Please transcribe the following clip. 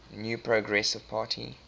new progressive party